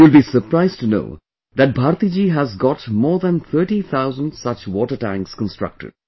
You will be surprised to know that Bharti ji has got more than 30 thousand such water tanks constructed